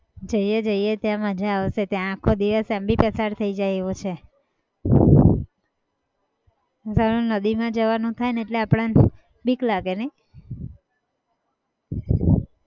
જઈએ જઈએ ત્યાં મજા આવશે ત્યાં આખો દિવસ એમ બી પસાર થઈ જાય એવો છે જેવું નદીમાં જવાનું થાયને એટલે આપણને બીક લાગે નહિ?